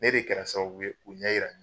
Ne de kɛra sababu ye ku ɲɛ yira